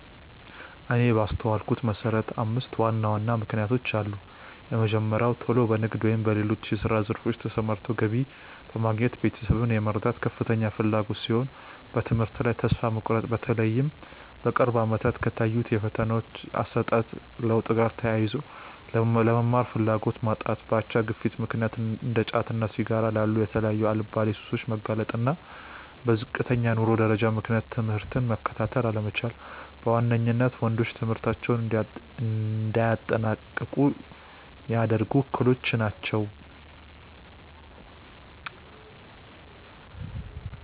እኔ ባስተዋልኩት መሰረት አምስት ዋና ዋና ምክንያቶች አሉ። የመጀመሪያው ቶሎ በንግድ ወይም በሌሎች የስራ ዘርፎች ተሰማርቶ ገቢ በማግኘት ቤተሰብን የመርዳት ከፍተኛ ፍላጎት ሲሆን፤ በትምህርት ላይ ተስፋ መቁረጥ(በተለይም በቅርብ አመታት ከታዩት የፈተናዎች አሰጣጥ ለውጥ ጋር ተያይዞ)፣ ለመማር ፍላጎት ማጣት፣ በአቻ ግፊት ምክንያት እንደ ጫትና ሲጋራ ላሉ የተለያዩ አልባሌ ሱሶች መጋለጥ፣ እና በዝቅተኛ የኑሮ ደረጃ ምክንያት ትምህርትን መከታተል አለመቻል በዋነኝነት ወንዶች ትምህርታቸውን እንዳያጠናቅቁ ሚያደርጉ እክሎች ናቸው።